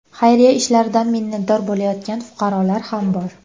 Xayriya ishlaridan minnatdor bo‘layotgan fuqarolar ham bor.